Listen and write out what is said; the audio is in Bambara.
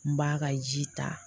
N b'a ka ji ta